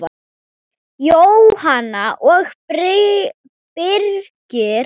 Jóhanna og Birgir.